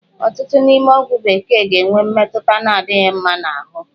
Ọtụtụ n'ime ọgwụ bekee ga-enwe mmetụta na-adịghị mma n'ahụ